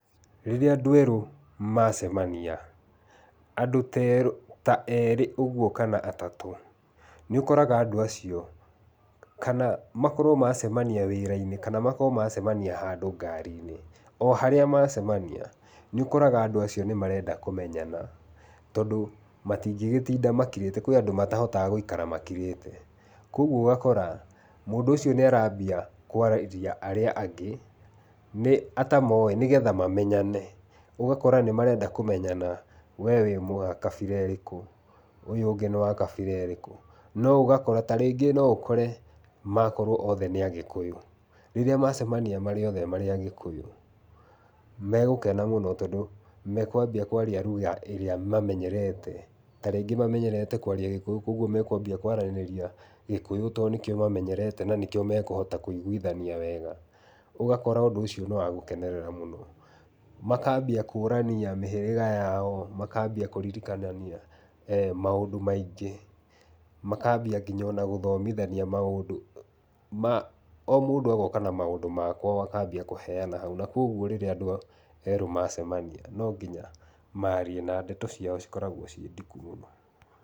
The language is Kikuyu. Rĩrĩa andũ erũ macemania, andũ ta erĩ ũguo kana atatũ, nĩũkoraga andũ acio, kana makorwo macemania wĩra-inĩ kana makorwo macemania handũ ngari-inĩ, o harĩa macemania nĩũkoraga andũ acio marenda kũmenyana, tondũ matingĩgĩtinda makirĩte, kwĩ andũ matahotaga gũikara makirĩte. Kuoguo ũgakora mũndũ ũcio nĩ arambia kwarĩria arĩa angĩ nĩ atamoĩ nĩgetha mamenyane. Ũgakora nĩmarenda kũmenyana we wĩ wa kabira ĩrĩkũ, ũyũ ũngĩ nĩ wa kabira ĩrĩkũ, no ũgakora tarĩngĩ no ũkore makorwo othe nĩ Agĩkũyũ, rĩrĩa macemania marĩ othe marĩ Agĩkũyũ megũkena mũno, tondũ mekwambia kwaria luga ĩrĩa mamenyerete. Tarĩngĩ mamenyerete kwaria Gĩkũyũ kuoguo mekwambia kwaranĩria Gĩkũyũ tondũ nĩkĩo mamenyerete na nĩkĩo mekũhota kũiguithania wega. Ũgakora ũndũ ũcio nĩ wa gũkenerera mũno. Makambia kũrania mĩhĩrĩga yao, makambia kũririkanania maũndũ maingĩ. Makambia kinya ona gũthomithania maũndũ ma o mũndũ agoka na maũndũ makwao akambia kũheana hau, na kuoguo rĩrĩa andũ erũ macemania, no nginya marie na ndeto ciao cikoragwo ciĩ ndiku mũno.